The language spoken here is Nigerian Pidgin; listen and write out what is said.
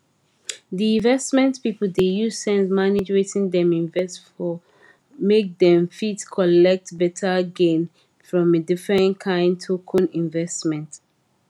di investment pipo dey use sense manage wetin dem invest for make dem fit collect better gain from different kain token investment